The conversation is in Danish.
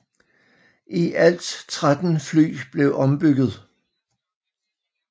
I alt 13 fly blev ombygget